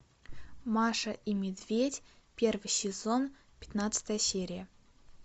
маша и медведь первый сезон пятнадцатая серия